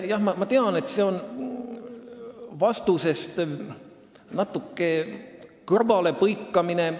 Jah, ma tean, et see on natukene vastusest kõrvalepõikamine.